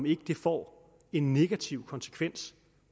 ikke får en negativ konsekvens